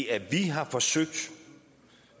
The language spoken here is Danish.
at vi har forsøgt